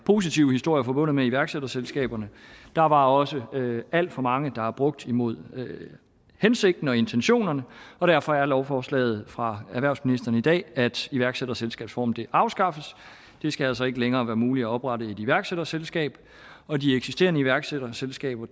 positive historier forbundet med iværksætterselskaberne der var også alt for mange der blev brugt imod hensigten og intentionerne og derfor er lovforslaget fra erhvervsministeren i dag at iværksætterselskabsformen afskaffes det skal altså ikke længere være muligt at oprette et iværksætterselskab og de eksisterende iværksætterselskaber